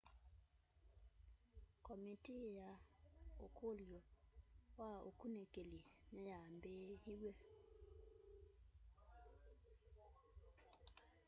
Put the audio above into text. komitii ya ukulyo wa ukunikili niyambiiw'e